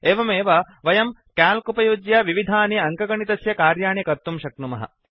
एवमेव वयं क्याल्क् उपयुज्य विविधानि अङ्कणितस्य कार्याणि कर्तुं शक्नुमः